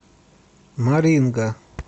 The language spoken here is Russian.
маринга